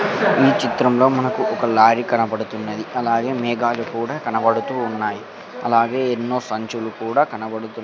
ఈ చిత్రంలో మనకు ఒక లారీ కనపడుతున్నది అలాగే మేఘాలు కూడా కనబడుతూ ఉన్నాయి అలాగే ఎన్నో సంచులు కూడా కనబడుతూ--